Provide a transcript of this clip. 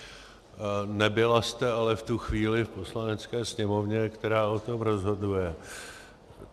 Nebyla jste ale v tu chvíli v Poslanecké sněmovně, která o tom rozhoduje.